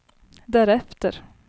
därefter